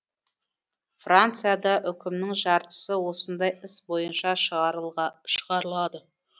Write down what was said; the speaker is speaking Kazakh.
францияда үкімнің жартысы осындай іс бойынша шығарылады